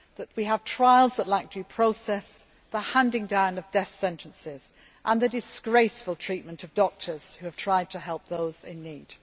ago. We see trials lacking in due process, the handing down of death sentences and the disgraceful treatment of doctors who have tried to help those in